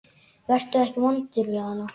Vertu ekki vondur við hana.